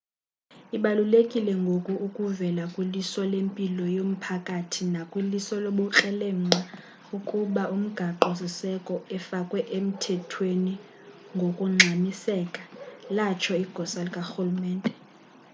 ibalulekile ngoku ukuvela kwiliso lempilo yomphakathi nakwiliso lobukrelemnqa ukuba umgaqo siseko efakwe emthethweni ngokungxamiseka latsho igosa likarhulumente